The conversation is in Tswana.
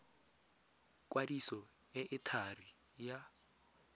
kwadiso e e thari ya